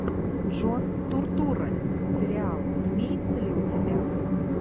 джон туртурро сериал имеется ли у тебя